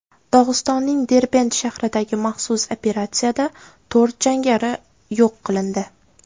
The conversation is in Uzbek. Dog‘istonning Derbent shahridagi maxsus operatsiyada to‘rt jangari yo‘q qilindi.